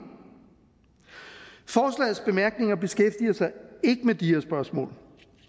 forslagets bemærkninger beskæftiger sig ikke med de her spørgsmål